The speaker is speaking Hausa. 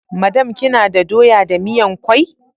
Madam, kina da doya da miyan kwai?